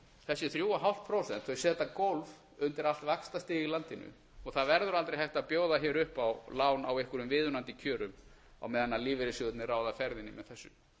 þessi þrjú og hálft prósent setja gólf undir allt vaxtastig í landinu það verður aldrei hægt að bjóða hér upp á lán á einhverjum viðunandi kjörum á meðan lífeyrissjóðirnir ráða ferðinni með þessu